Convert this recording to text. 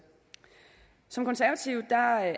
som konservative